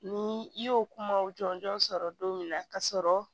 Ni i y'o kumaw jɔnjɔn sɔrɔ don min na ka sɔrɔ